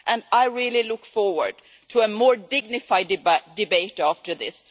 I really look forward to a more dignified debate after this.